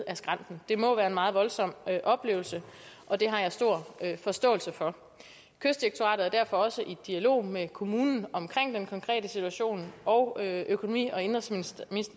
ad skrænten det må være en meget voldsom oplevelse og det har jeg stor forståelse for kystdirektoratet er derfor også i dialog med kommunen om den konkrete situation og økonomi og indenrigsministeren